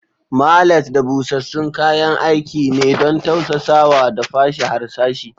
Mallet da busassun kayan aiki ne don tausasawa da fashe harsashi.